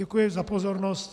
Děkuji za pozornost.